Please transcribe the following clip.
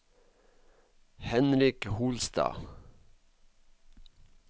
Henrik Holstad